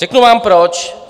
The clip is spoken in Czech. Řeknu vám proč.